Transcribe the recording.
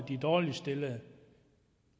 de dårligst stillede